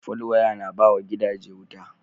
Fal waya na bawa gida je wuta